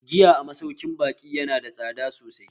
Giya a masaukin baƙi yana da tsada sosai